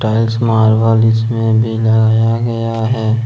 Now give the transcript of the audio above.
Tiles marble इसमें भी लगाया गया है।